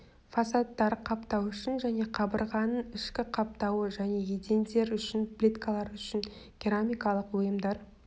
фасадтар қаптау үшін және қабырғаның ішкі қаптауы және едендер үшін плиткалар үшін керамикалық бұйымдар